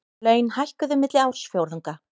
Laun hækkuðu milli ársfjórðunga